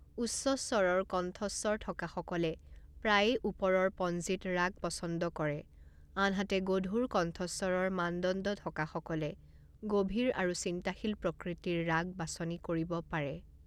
উচ্চস্বৰৰ কণ্ঠস্বৰ থকা সকলে প্ৰায়ে ওপৰৰ পঞ্জীত ৰাগ পছন্দ কৰে, আনহাতে গধুৰ কণ্ঠস্বৰৰ মানদণ্ড থকা সকলে গভীৰ আৰু চিন্তাশীল প্ৰকৃতিৰ ৰাগ বাছনি কৰিব পাৰে।